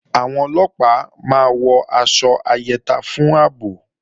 Àwọn Ọlọ́pàá máa wọ aṣọ ayẹta fún ààbò